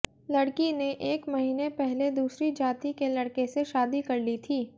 लड़की ने एक महीने पहले दूसरी जाति के लड़के से शादी कर ली थी